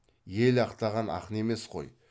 ел ақтаған ақын емес қой